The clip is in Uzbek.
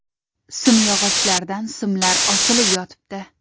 Simyog‘ochlardan simlar osilib yotibdi.